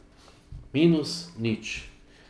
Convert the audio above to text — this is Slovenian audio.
Minus nič.